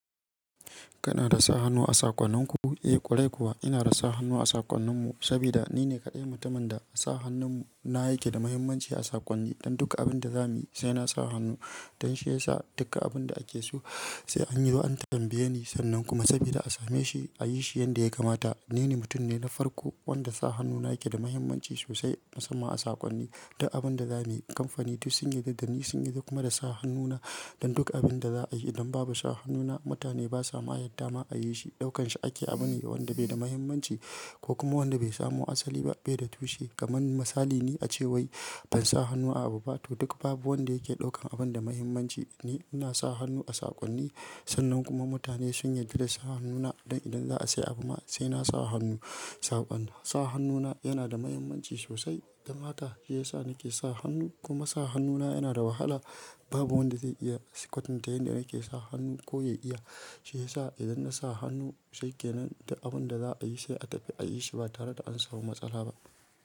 Kana da sa hannu a saƙonninku? Eh ƙwarai kuwa ina da sa hannu a saƙonnin mu saboda ni ne kaɗai mutumin da sa hannun mu, na yake da mahimmanci a saƙonni. Don duka abin da za mu yi sai na sa hannu don shi yasa duka abun da ake so sai an yi. Sai an zo an tambaye ni sannan kuma saboda a same shi a yi shi yanda ya kamata. Ni ne mutum ne na farko wanda sa hannuna yake da mahimmanci sosai musamman a saƙonni. Duk abin da za mu yi kamfani duk sun yarda dani. Sun yarda da kuma sa hannu na don duk abin da za a yi. Idan babu sa hannuna mutane ba sa ma yarda ma a yi shi. Ɗaukan shi ake abun ne wanda bai da mahimmanci ko kuma wanda bai samu asali ba, bai da tushe. Kaman misali ne a ce wai ban sa hannu a abu ba to duk babu wanda yake ɗaukan abun da mahimmanci. Ni ina sa hannu a saƙonni sannan kuma mutane sun yarda da sa hannu na. Don idan za a sai abu ma sai na sa hannu sa ban, sa hannuna yana da mahimmanci sosai. Don haka shi yasa nake sa hannu kuma sa hannu na yana da wahala. Babu wanda zai iya kwatanta yanda nake sa hannu ko ya iya. Shi yasa idan na sa hannu shikenan duk abun da za a yi sai a tafi a yi shi ba tare da an samu matsala ba.